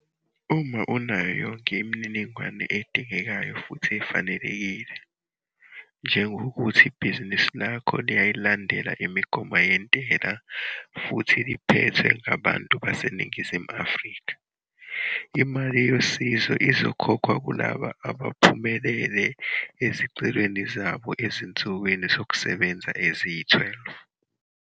Uma unayo yonke imininingwane edingekayo futhi ufanelekile, njengokuthi ibhizinisi lakho liyayilandela imigomo yentela futhi liphethwe ngabantu baseNingizimu Afrika, imali yosizo izokhokhwa kulabo abaphumelele ezicelweni zabo ezinsukwini zokusebenza eziyi-12.